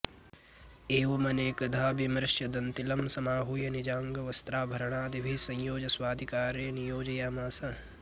एवमनेकधा विमृश्य दन्तिलं समाहूय निजाङ्गवस्त्राभरणादिभिः संयोज्य स्वाधिकारे नियोजयामास